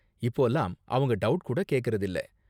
இப்போலாம் அவங்க டவுட் கூட கேக்கறதில்ல.